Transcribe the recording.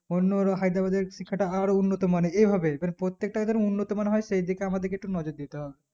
অণ্য কোথাও হায়দ্রাবাদে শিক্ষাটা আরো উন্নত মানের এভাবেই মানে প্রত্যেকটা এদের উন্নমান হয় সেই দিকে আমাদের একটু নজর দিতে হবে